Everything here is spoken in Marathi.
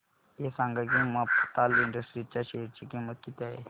हे सांगा की मफतलाल इंडस्ट्रीज च्या शेअर ची किंमत किती आहे